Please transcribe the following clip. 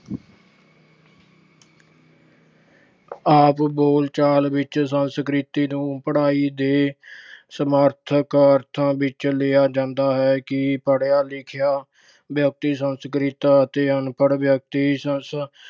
ਆਮ ਬੋਲਚਾਲ ਵਿੱਚ ਸੰਸਕ੍ਰਿਤ ਨੂੰ ਪੜ੍ਹਾਈ ਦੇ ਸਮਰਥਕ ਅਰਥਾਂ ਵਿੱਚ ਲਿਆ ਜਾਂਦਾ ਹੈ ਕਿ ਪੜ੍ਹਿਆ ਲਿਖਿਆ ਵਿਅਕਤੀ ਸੰਸਕ੍ਰਿਤ ਅਤੇ ਅਨਪੜ੍ਹ ਵਿਅਕਤੀ ਸੰਸ ਅਹ